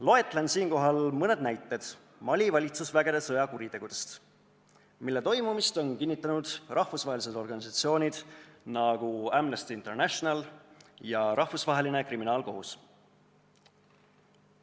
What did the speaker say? Loetlen siinkohal mõne näite Mali valitsusvägede sõjakuritegudest, mille toimumist on kinnitanud sellised rahvusvahelised organisatsioonid nagu Amnesty International ja Rahvusvaheline Kriminaalkohus.